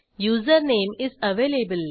user name is available